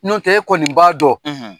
Nɔntɛ e ye kɔni b'a dɔn